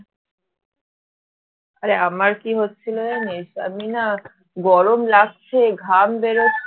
আরে আমার কী হচ্ছিল জানিস আমি না গরম লাগছে ঘাম বেরোচ্ছে